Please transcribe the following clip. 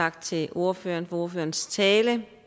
tak til ordføreren for ordførerens tale